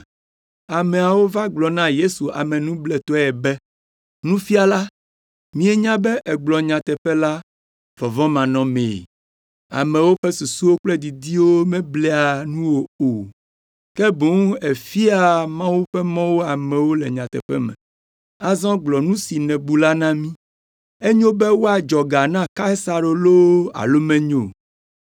Ameawo va gblɔ na Yesu amenubletɔe be, “Nufiala, míenya be ègblɔa nyateƒe la vɔvɔ̃manɔmee! Amewo ƒe susuwo kple didiwo meblea nuwò o, ke boŋ èfiaa Mawu ƒe mɔwo amewo le nyateƒe me. Azɔ gblɔ nu si nèbu la na mí.” Enyo be woadzɔ ga na Kaisaro loo alo menyo o?